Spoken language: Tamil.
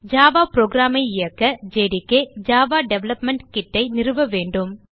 ஜாவா புரோகிராம் ஐ இயக்க ஜேடிகே ஜாவா டெவலப்மெண்ட் Kitஐ நிறுவ வேண்டும்